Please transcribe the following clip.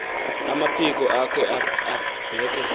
amaphiko akhe abeke